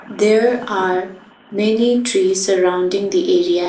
there are many trees surrounding the area.